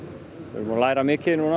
læra mikið